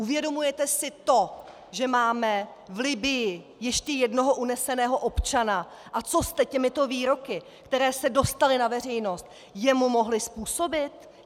Uvědomujete si to, že máme v Libyi ještě jednoho uneseného občana, a co jste těmito výroky, které se dostaly na veřejnost, jemu mohli způsobit?